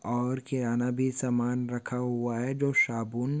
और किराणा भी समान रखा हूआ है जो शाबून--